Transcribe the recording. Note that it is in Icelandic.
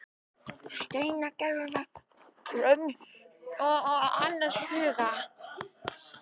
Steingerður var gröm og annars hugar.